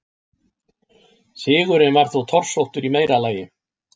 Sigurinn var þó torsóttur í meira lagi.